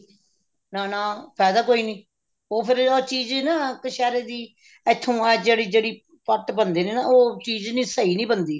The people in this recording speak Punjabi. ਨਾ ਨਾ ਫਾਇਦਾ ਕੋਈ ਨੀ ਉਹ ਫ਼ੇਰ ਆਹ ਚੀਜ਼ ਨਾ ਕਛੇਰੇ ਦੀ ਇੱਥੋਂ ਆਹ ਜਿਹੜੀ ਪੱਟ ਬਣਦੇ ਨੇ ਨਾ ਉਹ ਚੀਜ਼ ਨੀ ਸਹੀ ਨੀ ਬਣਦੀ